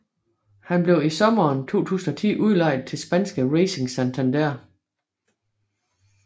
Han blev i sommeren 2010 udlejet til spanske Racing Santander